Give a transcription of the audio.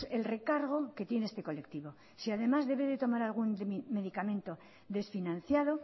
el recargo que tiene este colectivo si además debe tomar algún medicamento desfinanciado